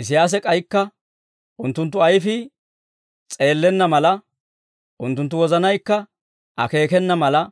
Isiyaasi k'aykka, «Unttunttu ayfii s'eellenna mala, unttunttu wozanaykka akeekena mala,